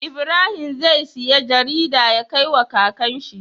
Ibrahim zai siya jarida ya kai wa kakan shi